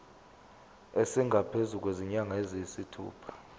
esingaphezu kwezinyanga eziyisithupha